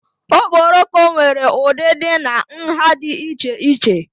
Okporoko nwere ụdịdị na nha dị iche iche.